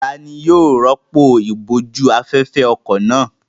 Ta ni yóò rọ́pò ìbòjú-afẹ́fẹ́ ọkọ̀ náà?